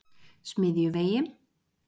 Smiðjuvegi